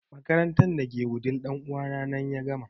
Makarantar da ta ke wudil ɗan uwa na ya gama